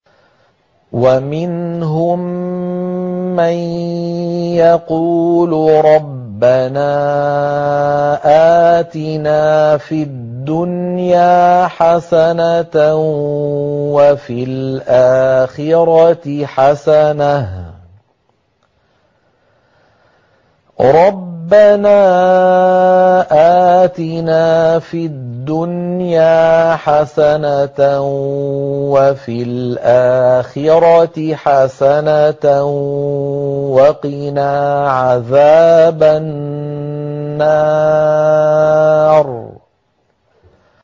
وَمِنْهُم مَّن يَقُولُ رَبَّنَا آتِنَا فِي الدُّنْيَا حَسَنَةً وَفِي الْآخِرَةِ حَسَنَةً وَقِنَا عَذَابَ النَّارِ